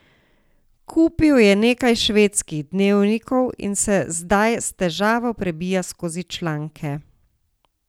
Kupil je nekaj švedskih dnevnikov in se zdaj s težavo prebijal skozi članke.